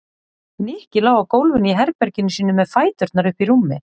Nikki lá á gólfinu í herberginu sínu með fæturna uppi í rúmi.